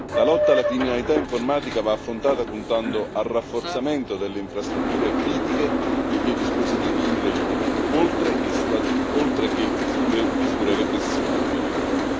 La lotta alla criminalità informatica va affrontata puntando al rafforzamento delle infrastrutture critiche e dei dispositivi in rete, oltre che sulle misure repressive, ovviamente.